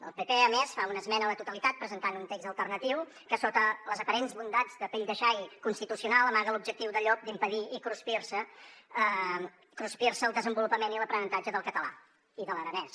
el pp a més fa una esmena a la totalitat presentant un text alternatiu que sota les aparents bondats de pell de xai constitucional amaga l’objectiu de llop d’impedir i cruspirse el desenvolupament i l’aprenentatge del català i de l’aranès